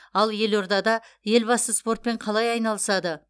ал елордада елбасы спортпен қалай айналысады